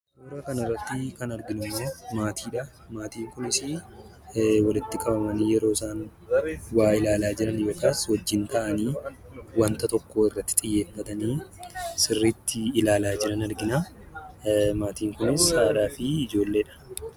Suuraa kana irratti kan arginu immoo, maatiidha. Maatiin Kunis walitti qabamanii yeroo isaan waa ilaalaa jiran yookiis wajjin ta'anii waanta tokko irratti xiyyeeffatanii sirriitti ilaalaa jiran argina. Maatiin Kunis haadhaa fi ijoolleedha.